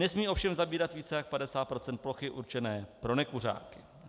Nesmějí ovšem zabírat více než 50 % plochy určené pro nekuřáky.